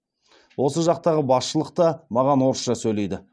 осы жақтағы басшылық та маған орысша сөйлейді